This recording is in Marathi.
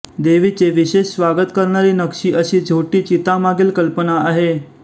देवीचे विशेष स्वागत करणारी नक्षी अशी झोटी चीता मागील कल्पना आहे